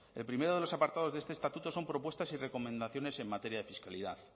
el primero de los apartados de este estatuto son propuestas y recomendaciones en materia de fiscalidad